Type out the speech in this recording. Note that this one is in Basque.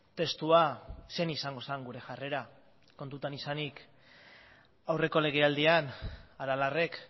testua zein izango zen gure jarrera kontuan izanik aurreko legealdian aralarrek